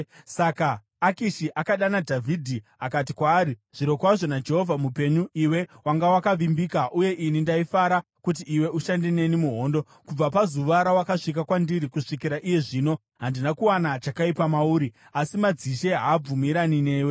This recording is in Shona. Saka Akishi akadana Dhavhidhi akati kwaari, “Zvirokwazvo naJehovha mupenyu, iwe wanga wakavimbika, uye ini ndaifara kuti iwe ushande neni muhondo. Kubva pazuva rawakasvika kwandiri kusvikira iye zvino, handina kuwana chakaipa mauri, asi madzishe haabvumirani newe.